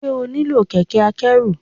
Ṣé o nílò kẹ̀kẹ́ akẹ́rù.